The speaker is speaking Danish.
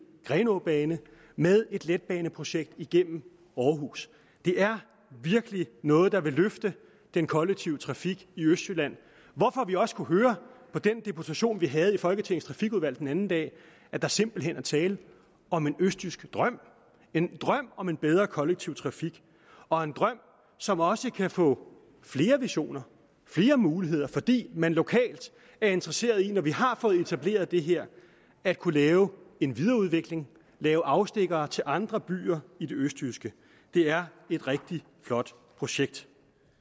grenaabane med et letbaneprojekt igennem aarhus det er virkelig noget der vil løfte den kollektive trafik i østjylland hvorfor vi også kunne høre på den deputation vi havde i folketingets trafikudvalg den anden dag at der simpelt hen er tale om en østjysk drøm en drøm om en bedre kollektiv trafik og en drøm som også kan få flere visioner flere muligheder fordi man lokalt er interesseret i når vi har fået etableret det her at kunne lave en videreudvikling lave afstikkere til andre byer i det østjyske det er et rigtig flot projekt